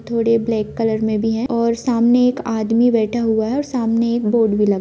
थोड़े black colour मे भी है और सामने एक आदमी बैठा हुआ है और सामने एक बोर्ड भी लगा--